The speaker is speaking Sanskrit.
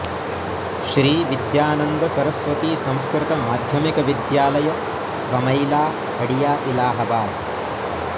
श्री विद्यानन्द सरस्वती संस्कृत माध्यमिक विद्यालय बमैला हड़िया इलाहाबाद